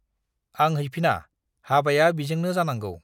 आं हैफिना, हाबाया बिजोंनो जानांगौ।